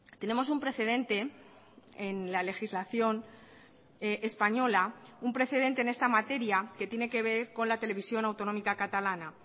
tenemos un precedente en la legislación española un precedente en esta materia que tiene que ver con la televisión autonómica catalana